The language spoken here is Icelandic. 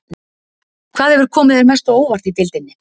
Hvað hefur komið þér mest á óvart í deildinni?